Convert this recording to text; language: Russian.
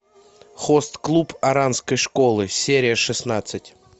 хост клуб оранской школы серия шестнадцать